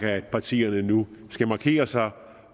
at partierne nu skal markere sig